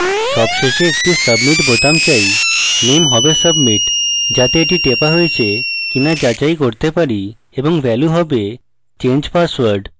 সবশেষে একটি submit বোতাম চাই name হবে submit যাতে the টেপা হয়েছে কিনা যাচাই করতে পারি এবং value হবে change password